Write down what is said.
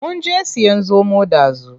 Munje siyan zomo ɗazu.